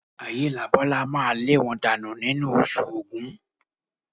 Ayélabọ́lá máa lé wọn dànù nínú Oṣù Ògún